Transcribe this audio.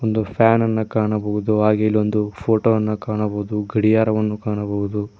ಒಂದು ಫ್ಯಾನನ್ನು ಕಾಣಬಹುದು ಹಾಗೆ ಇಲ್ಲೊಂದು ಫೋಟೋವನ್ನು ಕಾಣಬಹುದು ಗಡಿಯಾರವನ್ನು ಕಾಣಬಹುದು.